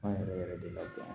An yɛrɛ yɛrɛ de la dɔn